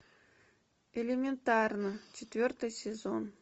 элементарно четвертый сезон